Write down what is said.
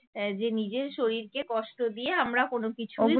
আহ যে নিজের শরীরকে কষ্ট দিয়ে আমরা কোনো কিছু